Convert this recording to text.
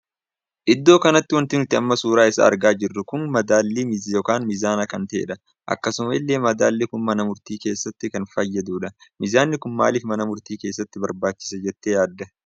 Iddoo kanatti wanti nuti amma suuraa isaa argaa jirru kun madaalli ykn mizanaa kan tahedha. akkasuma illee madaalli kun mana murtii keessatti kan fayyadudha. miizanni kun maalif mana murtii keessatti barbaachiisee jettee yaadda?